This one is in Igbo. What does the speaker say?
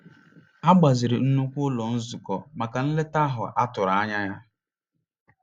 A gbaziri nnukwu ụlọ nzukọ maka nleta ahụ a tụrụ anya ya.